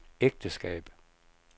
ægteskab